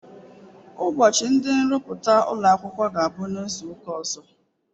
Ụbọchị ndị nrụpụta ụlọ akwụkwọ ga-abụ.